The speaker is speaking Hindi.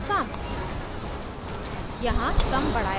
result is sum